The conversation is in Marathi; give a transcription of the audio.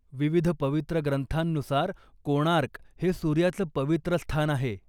विविध पवित्र ग्रंथांनुसार, कोणार्क हे सूर्याचं पवित्र स्थान आहे.